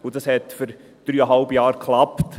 Das klappte für dreieinhalb Jahre.